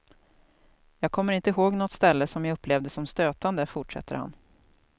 Jag kommer inte ihåg något ställe som jag upplevde som stötande, fortsätter han.